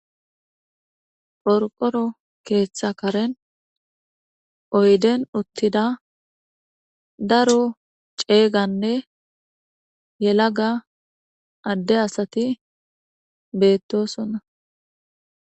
Qorqoro keetha karen ta be'ashe dizayssi woykko misileza bolla taasi beetizay aaze gizayssa giddiko woykko xeelishin dizayssi daro asati issippe eqqidayssinne dumma dumma lo'iza miishati qoncce gididdi beetish dizayssanne daro gidida miththa puuteti betees.